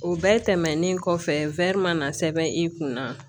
O bɛɛ tɛmɛnen kɔfɛ ma na sɛbɛn i kunna